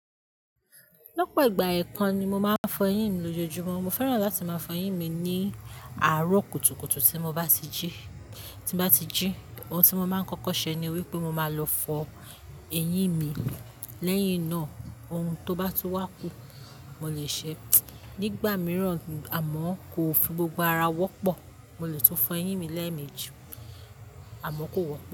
Lọ́pọ̀ ìgbà ẹ̀kan ni mo máa ń fọ eyín mi lójoojúmọ́. Mo fẹ́ràn láti máa fọ eyín mi ní àárọ̀ kùtùkùtù tí mo bá ti jí. Tí mo bá ti jí, ohun tí mo máa ń kọ́kọ́ ṣe ni wípé mo máa lọ fọ eyín mi. Lẹ́yìn náà, ohun tó bá tún wá kù mo le ṣe. Nígbà mìíràn, amọ́ kò fi gbogbo ara wọ́pọ̀, mo lè tún fọ eyín mi lẹ́ẹ̀mejì, amọ́ kò wọ́pọ̀